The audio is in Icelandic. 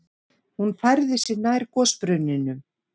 Hún færði sig nær gosbrunninum.